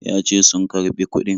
Ya ce sun karɓi kuɗin.